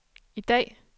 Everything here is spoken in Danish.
i dag